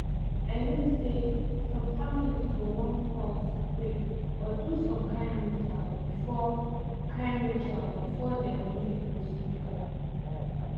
i mean say some families go wan pause pray or do some kain rituals before kain rituals before dem do the procedures